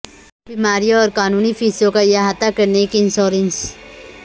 بیماریوں اور قانونی فیسوں کا احاطہ کرنے کے انشورنس